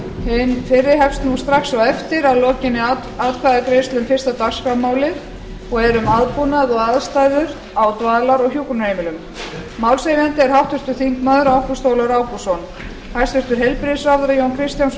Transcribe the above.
hin fyrri hefst nú strax á eftir að lokinni atkvæðagreiðslu um fyrsta dagskrármálið og er um aðbúnað og aðstæður á dvalar og hjúkrunarheimilum málshefjandi er háttvirtir þingmenn ágúst ólafur ágústsson hæstvirtur heilbrigðisráðherra jón kristjánsson verður